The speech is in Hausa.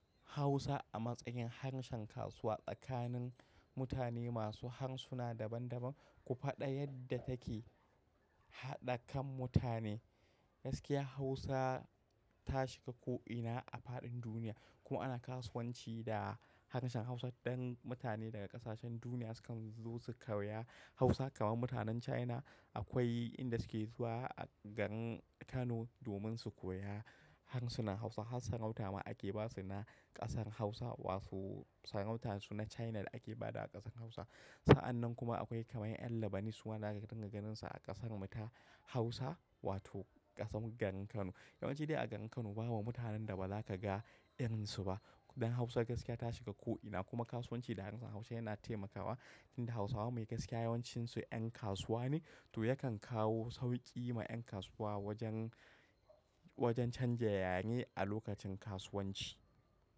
Hausa a matsayin harshen kasuwa tsakanin mutane masu harsuna daban-daban, ku faɗa yadda take haɗa kan mutane. Gaskiya Hausa ta shiga ko ina a faɗin duniya kuma ana kasuwanci da harshen Hausa. Dan mutane daga ƙasashen duniya sukan zo su koya Hausa kamar mutanen China. Akwai inda suke zuwa a garin Kano domin su koya harsunan Hausa har sarauta ma ake ba su na ƙasar Hausa. Wasu sarautarsu na China da ake ba da a ƙasar Hausa. Sa'annan kuma akwai kaman Yan Labanis waɗanda zaki dinga ganin su a ƙasarmu ta Hausa wato ƙasammu garin Kano. Yawan ci ne a garin Kano ba bu mutanen da ba za ka ga irin su ba. Dan Hausa gaskiya ta shiga ko ina kuma kasuwanci da harshen Hausa yana taimakawa inda Hausawa mai gaskiya yawancinsu 'yan kasuwa ne. To yakan kawo sauƙi ma 'yan kasuwa wajen, wajen canza yare a lokacin kasuwanci.